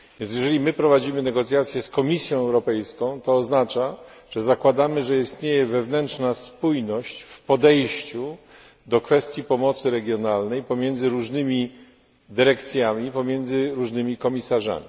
Jeżeli my prowadzimy negocjacje z Komisją Europejską, to oznacza, że zakładamy, że istnieje wewnętrzna spójność w podejściu do kwestii pomocy regionalnej pomiędzy różnymi dyrekcjami, pomiędzy różnymi komisarzami.